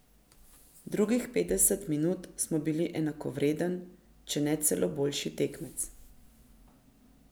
Drugih petdeset minut smo bili enakovreden, če ne celo boljši tekmec.